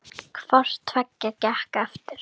Hvort tveggja gekk eftir.